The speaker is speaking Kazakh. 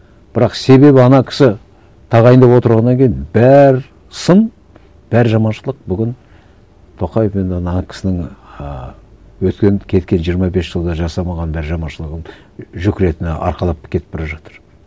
бірақ себебі ана кісі тағайындап отырғаннан кейін бар сын бар жаманшылық бүгін тоқаев енді ана кісінің ііі өткен кеткен жиырма бес жылда жасамаған да жаманшылығын жүк ретінде арқалап кетіп бара жатыр